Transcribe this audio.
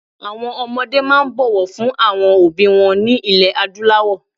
Àwọn ọmọ máa ń bọ̀wọ̀ fún àwọn òbí wọn ní ilẹ̀ Adúláwọ̀